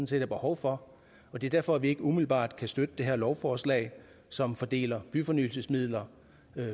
set er behov for og det er derfor at vi ikke umiddelbart kan støtte det her lovforslag som fordeler byfornyelsesmidler